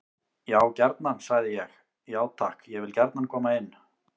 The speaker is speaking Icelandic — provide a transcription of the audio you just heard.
Já gjarnan, sagði ég: Já takk, ég vil gjarnan koma inn.